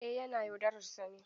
Eh yana yaudarar sa ne.